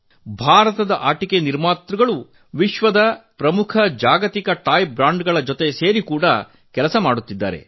ಭಾರತದ ಆಟಿಕೆ ತಯಾರಕರು ಇದೀಗ ವಿಶ್ವದ ಪ್ರಮುಖ ಜಾಗತಿಕ ಆಟಿಕೆ ಬ್ರಾಂಡ್ ಗಳ ಜೊತೆ ಸೇರಿ ಕಾರ್ಯನಿರ್ವಹಿಸುತ್ತಿದ್ದಾರೆ